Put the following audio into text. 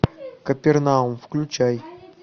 капернаум включай